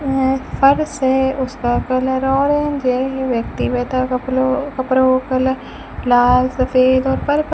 यहां एक फर्श है उसका कलर ऑरेंज है ये व्यक्ति बैठा कपलों कपड़ों का कलर लाल सफेद और पर्पल --